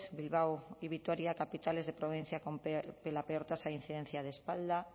bilbao y vitoria capitales de provincia con la peor tasa de incidencia de espalda